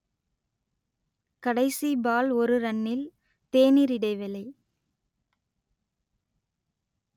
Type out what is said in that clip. கடைசி பால் ஒரு ரன்னில் தேனீர் இடைவேளை